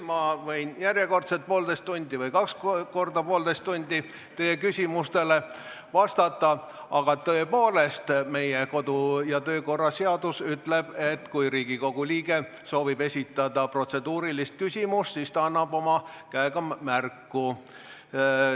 Ma võin järjekordselt poolteist või kaks korda poolteist tundi teie küsimustele vastata, aga tõepoolest, meie kodu- ja töökorra seadus ütleb, et kui Riigikogu liige soovib esitada protseduurilist küsimust, siis ta annab käega märku.